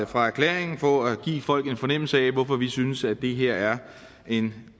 fra erklæringen for at give folk en fornemmelse af hvorfor vi synes at det her er en